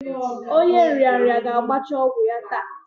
Onye nrịanrịa ga-agbacha ọgwụ ogwu ya taa